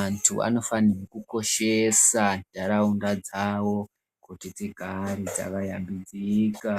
Antu anofanhirwe kukoshesa nharaunda dzavo kuti dzigare dzakashambidzika.